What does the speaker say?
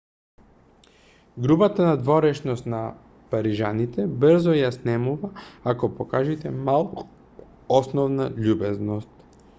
грубата надворешност на парижаните брзо ја снемува ако покажете малку основна љубезност